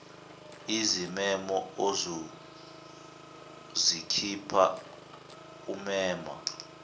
izimemo ozozikhipha umema